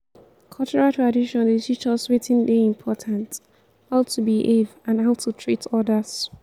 cultural tradition dey teach us wetin dey important how to behave and how to treat odas.